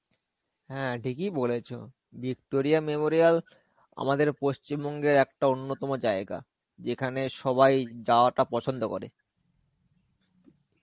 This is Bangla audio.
হ্যাঁ, ঠিকই বলেছো. Victoria memorial আমাদের পশ্চিমবঙ্গের একটা অন্যতম জায়গা. যেখানে সবাই যাওয়াটা পছন্দ করে.